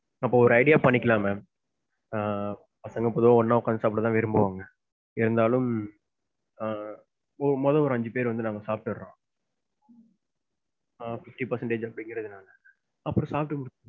அப்ப ஒரு idea பண்ணிக்கலாம் ma'am ஆஹ் பசங்க பொதுவா ஒண்ணா உக்காந்து சாப்புடத்தான் விரும்புவாங்க. இருந்தாலும் ஆ மொத ஒரு அஞ்சு பேர் வந்து சாப்டுருறோம். ஆஹ் fifty percentage அப்படீங்குரதுனால. அப்பறம் சாப்பிட்டு